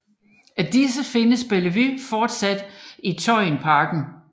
Af disse findes Bellevue fortsat i Tøyenparken